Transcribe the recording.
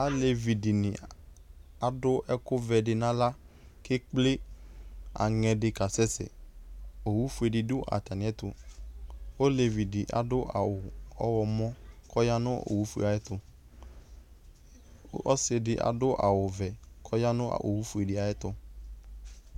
Alevidɩnɩ adʋ ɛkʋvɛdɩ n'aɣla , k'ekple aŋɛdɩ k'asɛ sɛ Owufuedɩ dʋ atamɩɛtʋ ; olevidɩ adʋ awʋ ɔɣlɔmɔ k'ɔya nʋ owufuee ayɛtʋ Ɔsɩdɩ adʋ awʋvɛ k'ɔya nʋ owufuedɩ ayɛtʋ